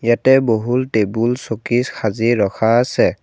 ইয়াতে বহুল টেবুল চকী সাজি ৰখা আছে।